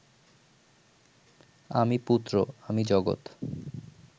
আমি পুত্র, আমি জগত